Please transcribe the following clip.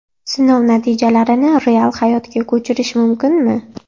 Sinov natijalarini real hayotga ko‘chirish mumkinmi?